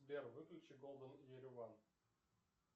сбер выключи голден ереван